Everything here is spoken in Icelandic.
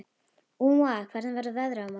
Úa, hvernig verður veðrið á morgun?